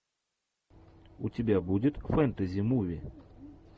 у тебя будет фэнтези муви